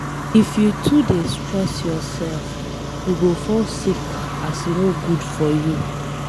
If you too dey stress yourself, you go fall sick as e no good for you.